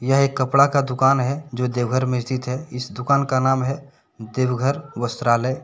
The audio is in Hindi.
यह एक कपड़ा का दुकान है जो देवघर में स्थित है इस दुकान का नाम है देवघर वस्त्रालय।